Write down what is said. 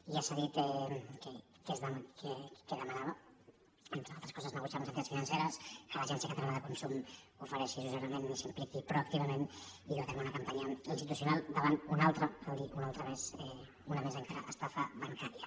i ja s’ha dit què demanava entre altres coses negociar amb les entitats financeres que l’agència catalana de consum ofereixi assessorament i s’hi impliqui proactivament i dur a terme una campanya institucional davant una al·tra cal dir una altra més una més encara estafa bancària